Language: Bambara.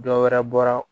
Dɔ wɛrɛ bɔra